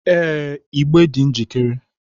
Ee, igbe dị njikere